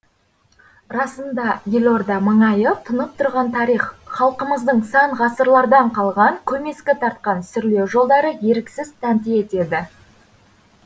расында елорда маңайы тұнып тұрған тарих халқымыздың сан ғасырлардан қалған көмескі тартқан сүрлеу жолдары еріксіз тәнті етеді